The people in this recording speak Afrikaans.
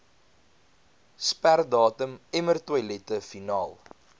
sperdatum emmertoilette finaal